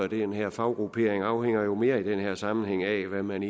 den her faggruppe mere i den her sammenhæng af hvad man